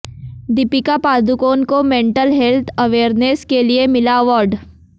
दीपिका पादुकोण को mental health awareness के लिए मिला अवार्ड